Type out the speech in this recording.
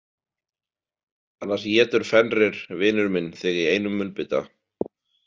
Annars étur Fenrir vinur minn þig í einum munnbita